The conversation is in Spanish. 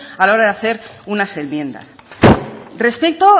a la hora de hacer unas enmiendas respeto